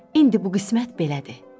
İndi bu qismət belədir.